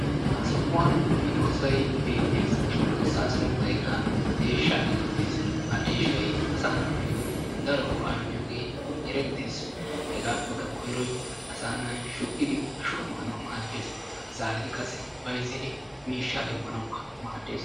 Ha sohuwan medoossayi beettes. He medoossaa sunttaykka deeshshaa geetettes. Ha deeshshayi asaa naatussi daro go"aa immiyogee erettes. Hegaappekka koyroyi asaa na"ayi shukkidi ashuwa maanawu maaddes. Zaaridi qassi bayzzidi miishshaa demmanawukka maaddes.